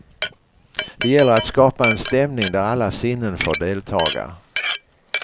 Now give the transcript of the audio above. Det gäller att skapa en stämning där alla sinnen får deltaga.